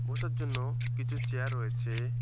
বসার জন্যও কিছু চেয়ার রয়েছে।